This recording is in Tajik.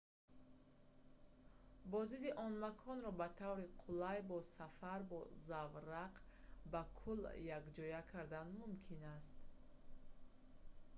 боздиди он маконро ба таври қулай бо сафар бо заврақ ба кӯл якҷоя кардан мумкин аст